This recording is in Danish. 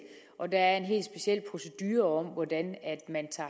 og der er en helt speciel procedure for hvordan man tager